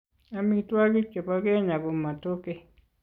Amitwokik che bo kenyaa ko Matoke.